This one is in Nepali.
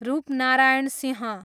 रूपनारायण सिंह